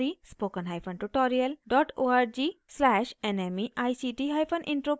इस मिशन पर अधिक जानकारी